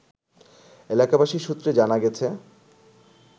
এলাকাবাসী সূত্রে জানা গেছে